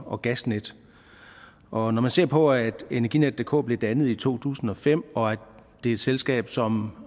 og gasnet og når man ser på at energinetdk blev dannet i to tusind og fem og det er et selskab som